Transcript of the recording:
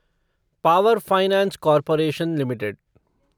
power finance corporation limited